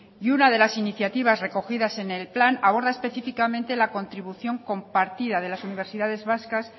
y una de las iniciativas recogidas en el plan abordar específicamente la contribución compartida de las universidades vascas